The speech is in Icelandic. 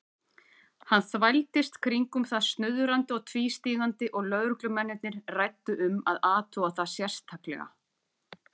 Hann þvældist kringum það snuðrandi og tvístígandi og lögreglumennirnir ræddu um að athuga það sérstaklega.